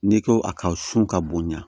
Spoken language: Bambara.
N'i ko a ka sun ka bonɲa